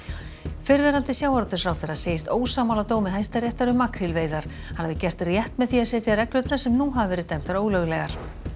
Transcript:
fyrrverandi sjávarútvegsráðherra segist ósammála dómi Hæstaréttar um makrílveiðar hann hafi gert rétt með því að setja reglurnar sem nú hafa verið dæmdar ólöglegar